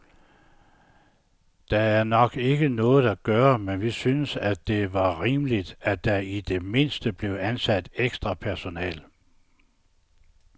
Der er nok ikke noget at gøre, men vi synes, at det var rimeligt, at der i det mindste blev ansat ekstra personale